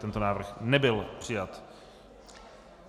Tento návrh nebyl přijat.